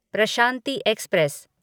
Prashanti express